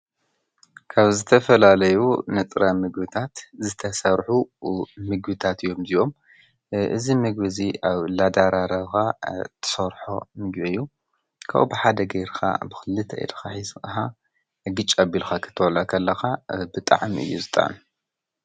ካብ ዝተፈላለዩ ንጥረ ምግብታት ዝተሰርሑ ምግብታት እዮም እዚኦም፡፡ እዚ ምግቢ እዚ ኣብ እናደራረብካ እትሰርሖ ምግቢ እዩ፡፡ ካብኡ ብሓደ ጌርካ ብክልቲኡ ኢድካ ሕዝካ ዕግጭ ኣቢልካ ክትበልዖ ከለካ ብጣዕሚ እዩ ዝጥዕም፡፡